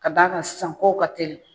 Ka d'a ka sisan ko ka teli.